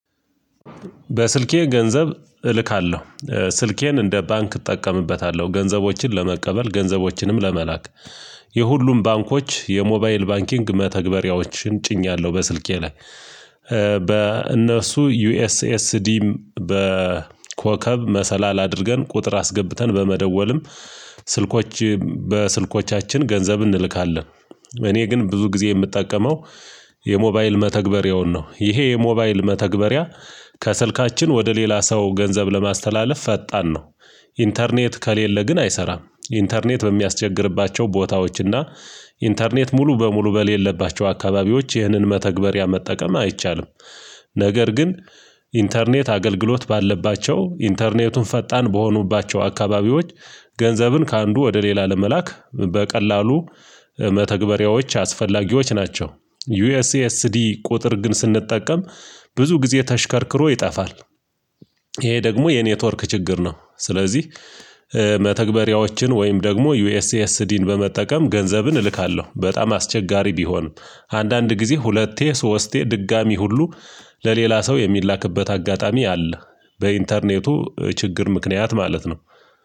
በስልኬ ገንዘብ እልካለሁ ስልኬን እንደ ባንክ እጠቀምበታለሁ ገንዘቦችን ለመቀበል ገንዘቦችንም ለመላክ የሁሉም ባንኮች የሞባይል ባንኪንግ መተግበሪያዎችን ጭኛለሁ በስልኬ ላይ። በእነሱ ዩኤስኤስዲም በኮከብ መሰላል አድርገን ቁጥር አስገብተን በመደወልም ስልኮች በስልኮቻችን ገንዘብ እንልካለን። እኔ ግን ብዙ ጊዜ የምጠቀመው የሞባይል መተግበሪያውን ነው። ይሄ የሞባይል መተግበሪያ ከስልካችን ወደ ሌላ ሰው ገንዘብ ለማስተላለፍ ፈጣን ነው። ኢንተርኔት ከሌለ ግን አይሰራም ኢንተርኔት በሚያስቸግርባቸው ቦታዎችና። ኢንተርኔት ሙሉ በሙሉ በሌለባቸው አካባቢዎች ይህንን መተግበሪያ መጠቀም አይቻልም። ነገር ግን ኢንተርኔት አገልግሎት ባለባቸው ኢንተርኔቱን ፈጣን በሆኑባቸው አካባቢዎች። ገንዘብን ከአንዱ ወደ ሌላ ለመላክ በቀላሉ መተግበሪያዎች አስፈላጊዎች ናቸው። ዩኤስኤስዲ ቁጥር ግን ስንጠቀም ብዙ ጊዜ ተሽከርክሮ ይጠፋል። ይሄ ደግሞ የኔትወርክ ችግር ነው። ስለዚህ መተግበሪያዎችን ወይም ደግሞ ዩኤስኤስዲን በመጠቀም ገንዘብን እልካለሁ። በጣም አስቸጋሪ ቢሆንም አንዳንድ ጊዜ ሁለቴ ሶስቴ ድጋሚ ሁሉ ለሌላ ሰው የሚላክበት አጋጣሚ አለ። በኢንተርኔቱ ችግር ምክንያት ማለት ነው